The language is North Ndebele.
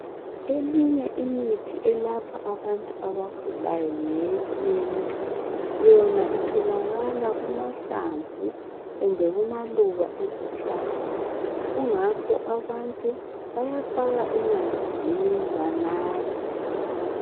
Eminye imithi elapha abantu abagulayo ngeyesintu. Yona itholakala kumahlamvu kumbe kumaluba ezihlahla. Kungakho abantu yayafaka emanzini banathe.